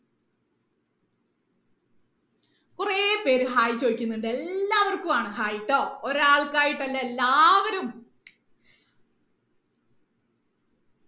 കുറേ പേര് Hi ചോദിക്കുന്നുണ്ട് എല്ലാവർക്കും ആണ് hi ട്ടോ ഒരാൾക്കായിട്ടല്ല എല്ലാവരും